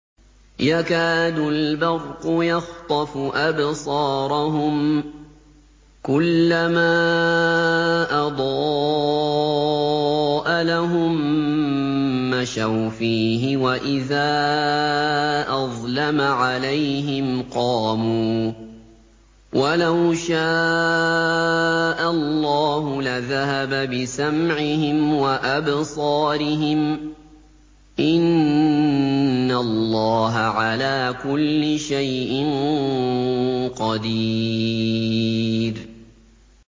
يَكَادُ الْبَرْقُ يَخْطَفُ أَبْصَارَهُمْ ۖ كُلَّمَا أَضَاءَ لَهُم مَّشَوْا فِيهِ وَإِذَا أَظْلَمَ عَلَيْهِمْ قَامُوا ۚ وَلَوْ شَاءَ اللَّهُ لَذَهَبَ بِسَمْعِهِمْ وَأَبْصَارِهِمْ ۚ إِنَّ اللَّهَ عَلَىٰ كُلِّ شَيْءٍ قَدِيرٌ